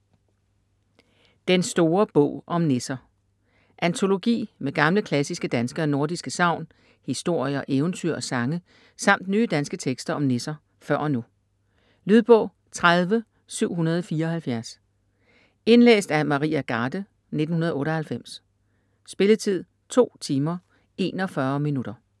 Den store bog om nisser Antologi med gamle, klassiske danske og nordiske sagn, historier, eventyr og sange samt nye danske tekster om nisser før og nu. Lydbog 30774 Indlæst af Maria Garde, 1998. Spilletid: 2 timer, 41 minutter.